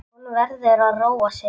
Hún verður að róa sig.